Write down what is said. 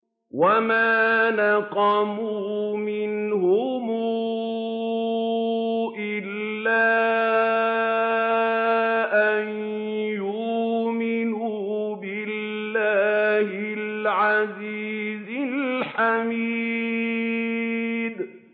وَمَا نَقَمُوا مِنْهُمْ إِلَّا أَن يُؤْمِنُوا بِاللَّهِ الْعَزِيزِ الْحَمِيدِ